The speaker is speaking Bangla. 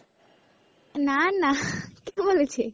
না না, কে বলেছে?